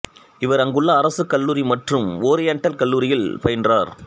இவர் அங்குள்ள அரசு கல்லூரி மற்றும் ஓரியண்டல் கல்லூரியில் பயின்றார்